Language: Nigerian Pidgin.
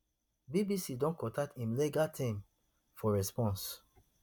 bbc don contact im legal team for response